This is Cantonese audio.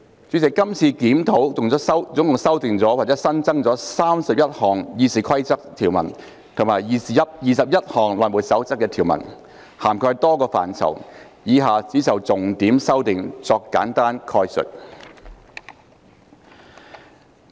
主席，這次檢討共修訂或新增31項《議事規則》的條文及21項《內務守則》的條文，涵蓋多個範疇，以下我只就重點修訂作簡單概述。